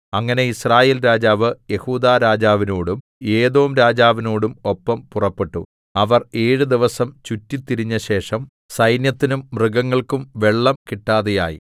അങ്ങനെ യിസ്രായേൽ രാജാവ് യെഹൂദാരാജാവിനോടും ഏദോംരാജാവിനോടും ഒപ്പം പുറപ്പെട്ടു അവർ ഏഴു ദിവസം ചുറ്റിത്തിരിഞ്ഞശേഷം സൈന്യത്തിനും മൃഗങ്ങൾക്കും വെള്ളം കിട്ടാതെയായി